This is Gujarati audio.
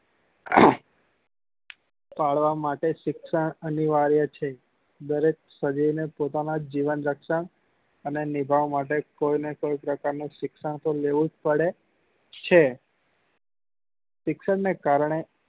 ફાળવા માટે શિક્ષણ અનિવાર્ય છે દરેક સજીવ ને પોતાના જીવન રક્ષણ અને નિભાવવા માટે કોઈ ને કોઈ પ્રકાર નું શિક્ષણ તો લેવું જ પડે છે શિક્ષણ ને કારણે